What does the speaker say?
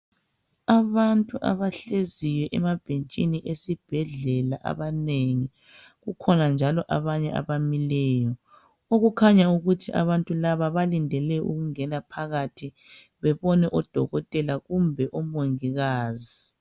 Abantu abahleziyo emabhenjini esibhedlela abanengi. Kukhona njalo abanye abamileyo okukhanya ukuthi abantu laba balindele ukungena phakathi bebone odokotela kumbe omongikazi.